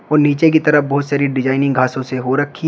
और नीचे की तरफ बहुत सारी डिजाइनिंग घासों से हो रखी--